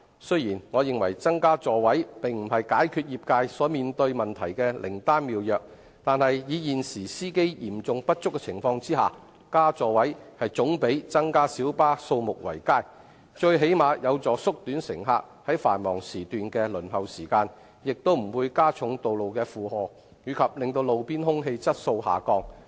雖然我認為增加座位並不是解決業界所面對問題的靈丹妙藥，但在現時司機嚴重不足的情況下，增加座位總比增加小巴數目為佳，最低限度有助縮短乘客於繁忙時段的輪候時間，亦不會加重道路的負荷及令路邊空氣質素下降。